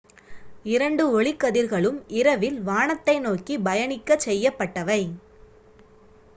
இரண்டு ஒளிக்கதிர்களும் இரவில் வானத்தை நோக்கி பயணிக்கச் செய்யப்பட்டவை